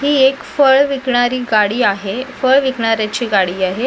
ही एक फळ विकणारी गाडी आहे फळ विकणाऱ्यांची गाडी आहे.